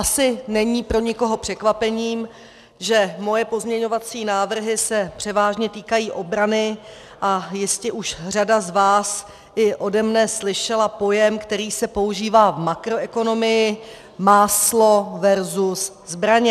Asi není pro nikoho překvapením, že moje pozměňovací návrhy se převážně týkají obrany, a jistě už řada z vás i ode mne slyšela pojem, který se používá v makroekonomii, "máslo versus zbraně".